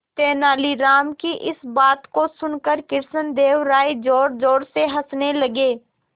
तेनालीराम की इस बात को सुनकर कृष्णदेव राय जोरजोर से हंसने लगे